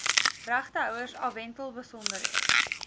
regtehouers afwentel besonderhede